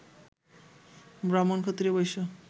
ব্রাহ্মণ, ক্ষত্রিয়, বৈশ্য